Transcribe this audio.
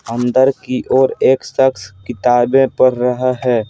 अंदर की ओर एक शख्स किताबें पढ़ रहा है।